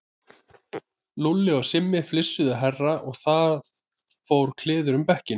Lúlli og Simmi flissuðu hærra og það fór kliður um bekkinn.